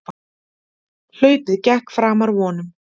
Hlaupið gekk framar vonum